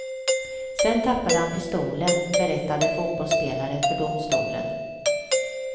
Sen tappade han pistolen, berättade fotbollsspelaren för domstolen.